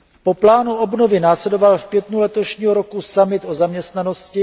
Po plánu obnovy následoval v květnu letošního roku summit o zaměstnanosti.